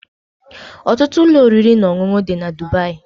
Ọtụtụ ụlọ oriri na ọṅụṅụ dị na Dubai